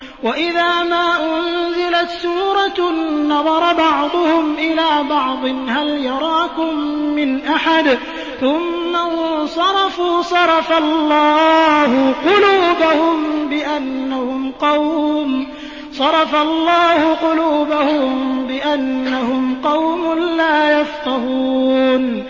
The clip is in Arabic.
وَإِذَا مَا أُنزِلَتْ سُورَةٌ نَّظَرَ بَعْضُهُمْ إِلَىٰ بَعْضٍ هَلْ يَرَاكُم مِّنْ أَحَدٍ ثُمَّ انصَرَفُوا ۚ صَرَفَ اللَّهُ قُلُوبَهُم بِأَنَّهُمْ قَوْمٌ لَّا يَفْقَهُونَ